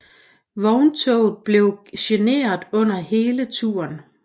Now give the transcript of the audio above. Vogntoget blev generet under hele turen